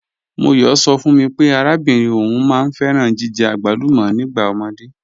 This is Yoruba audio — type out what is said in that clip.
M̀ọyọ̣ sọ̀ fún mí pé àràbìnrin ọún máá n fẹ̀ràn jìjẹ̀ agbàlùmọ̀ nígbà omódé.